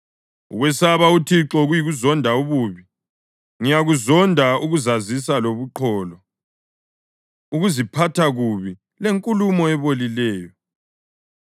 Ukwesaba uThixo yikuzonda ububi; ngiyakuzonda ukuzazisa lobuqholo, ukuziphatha kubi lenkulumo ebolileyo.